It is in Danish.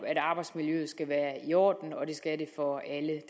at arbejdsmiljøet skal være i orden det skal det for alle